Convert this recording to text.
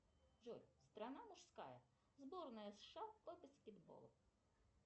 джой страна мужская сборная сша по баскетболу